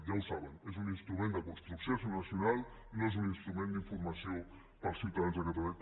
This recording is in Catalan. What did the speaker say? ja ho saben és un instrument de construcció nacional no és un instrument d’informació per als ciutadans de catalunya